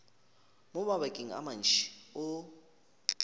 mo mabakeng a mantši o